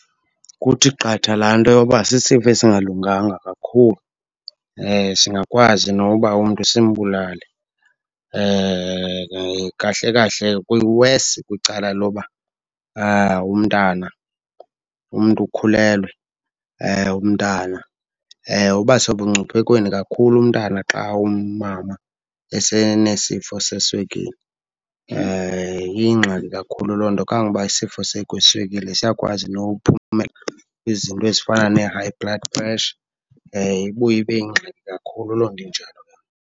Kuthi qatha laa nto yoba sisifo esingalunganga kakhulu singakwazi noba umntu simbulale. Kahle kahle kuwesi kwicala loba umntana umntu ukhulelwe, umntana. Uba sebungciphekweni kakhulu umntana xa umama esenesifo seswekile, iyingxaki kakhulu loo nto. Kangangoba isifo seswekile siyakwazi nokuphumela nezinto ezifana ne-high blood pressure, ibuye ibe yingxaki kakhulu loo nto injalo.